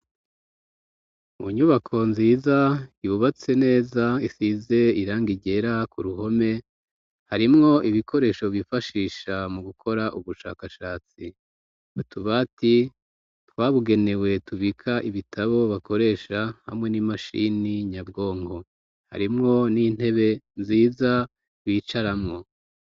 Mu nyubako nziza yubatse neza isize irangi ryera ku ruhome. Harimwo ibikoresho bifashisha mu gukora ubushakashatsi batubaati twabugenewe tubika ibitabo bakoresha hamwe n'imashini nyabwongo harimwo n'intebe nziza bicaramwo.